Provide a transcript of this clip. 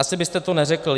Asi byste to neřekl.